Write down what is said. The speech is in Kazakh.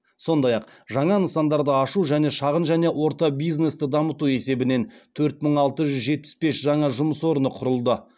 сондай ақ жаңа нысандарды ашу және шағын және орта бизнесті дамыту есебінен төрт мың алты жүз жетпіс бес жаңа жұмыс орны құрылды